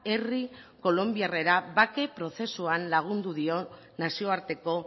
herri kolonbiarrera bake prozesuan lagundu dio nazioarteko